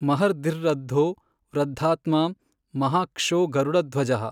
ಮಹರ್ದ್ಧಿರೃದ್ಧೋ ವೃದ್ಧಾತ್ಮಾ ಮಹಾಕ್ಷೋ ಗರುಡಧ್ವಜಃ।